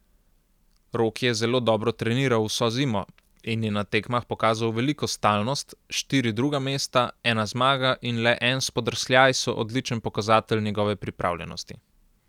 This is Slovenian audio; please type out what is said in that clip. Rok je zelo dobro treniral vso zimo in je na tekmah pokazal veliko stalnost, štiri druga mesta, ena zmaga in le en spodrsljaj so odličen pokazatelj njegove pripravljenosti.